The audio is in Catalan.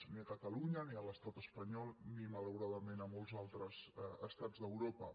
ni a catalunya ni a l’estat espanyol ni malau·radament a molts d’altres estats d’europa